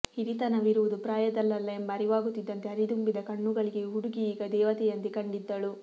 ಹಿರಿತನವಿರುವುದು ಪ್ರಾಯದಲ್ಲಲ್ಲ ಎಂಬ ಅರಿವಾಗುತ್ತಿದ್ದಂತೆ ಹನಿದುಂಬಿದ ಕಣ್ಣುಗಳಿಗೆ ಹುಡುಗಿಯೀಗ ದೇವತೆಯಂತೆ ಕಂಡಿದ್ದಳು